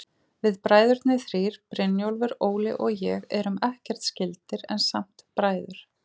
Við bræðurnir þrír, Brynjólfur, Óli og ég, erum ekkert skyldir, en samt bræður.